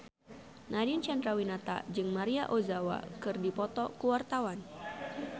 Nadine Chandrawinata jeung Maria Ozawa keur dipoto ku wartawan